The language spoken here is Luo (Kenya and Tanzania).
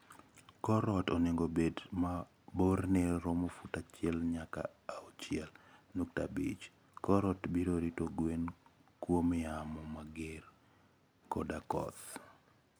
Kor ot onego obed ma borne romo fut achiel nyaka achiel nukta abich. Kor ot biro rito gwen kuom yamo mager koda koth.